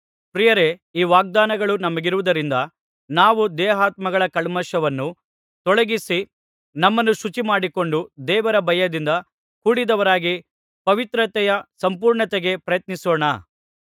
ಪ್ರಿಯರೇ ಈ ವಾಗ್ದಾನಗಳು ನಮಗಿರುವುದರಿಂದ ನಾವು ದೇಹಾತ್ಮಗಳ ಕಲ್ಮಷವನ್ನು ತೊಲಗಿಸಿ ನಮ್ಮನ್ನು ಶುಚಿಮಾಡಿಕೊಂಡು ದೇವರ ಭಯದಿಂದ ಕೂಡಿದವರಾಗಿ ಪವಿತ್ರತೆಯ ಸಂಪೂರ್ಣತೆಗೆ ಪ್ರಯತ್ನಿಸೋಣ